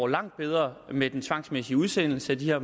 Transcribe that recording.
langt bedre med den tvangsmæssige udsendelse af de her